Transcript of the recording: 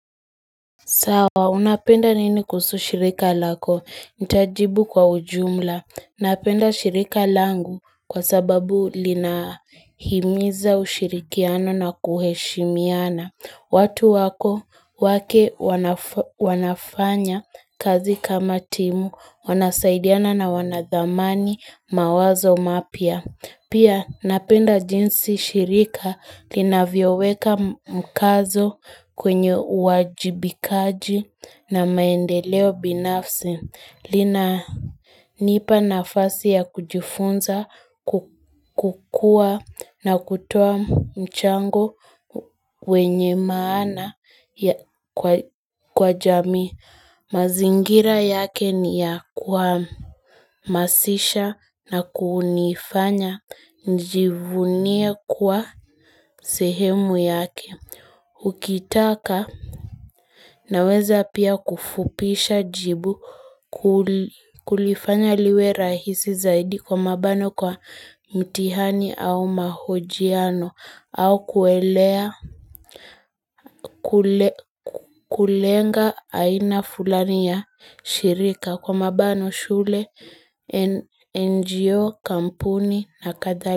Sawa, unapenda nini kuhusu shirika lako? Nitajibu kwa ujumla. Napenda shirika langu kwa sababu lina himiza ushirikiano na kuheshimiana. Watu wako wake wanafanya kazi kama timu, wanasaidiana na wanadhamani mawazo mapya. Pia napenda jinsi shirika linavyoweka mkazo kwenye uwajibikaji na maendeleo binafsi linanipa nafasi ya kujifunza kukua na kutoa mchango wenye maana kwa jamii. Mazingira yake ni ya kuhamasisha na kunifanya nijivunie kuwa sehemu yake Ukitaka naweza pia kufupisha jibu kulifanya liwe rahisi zaidi kwa mabano kwa mtihani au mahojiano au kuelea kulenga aina fulani ya shirika kwa mabano shule, NGO, kampuni na kadhali.